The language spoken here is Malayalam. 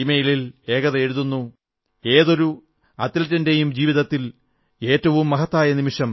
ഇമെയിലിൽ ഏകത എഴുതുന്നു ഏതൊരു അത്ലെറ്റിന്റെയും ജീവിതത്തിൽ ഏറ്റവും മഹത്തായ നിമിഷം